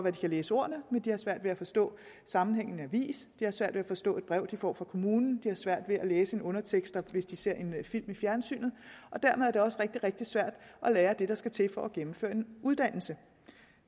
at de kan læse ordene men de har svært ved at forstå sammenhængen avis de har svært ved at forstå et brev de får fra kommunen de har svært ved at læse underteksterne hvis de ser en film i fjernsynet og dermed er det også rigtig rigtig svært at lære det der skal til for at gennemføre en uddannelse